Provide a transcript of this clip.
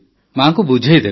ମାଆଙ୍କୁ ବୁଝାଇଦେବେ